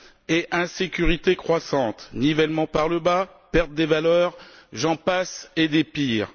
et insécurité croissante, nivellement par le bas, perte des valeurs, j'en passe et des pires.